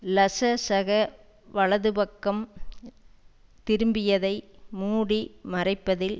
லசசக வலதுபக்கம் திரும்பியதை மூடி மறைப்பதில்